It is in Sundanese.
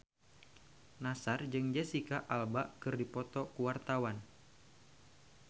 Nassar jeung Jesicca Alba keur dipoto ku wartawan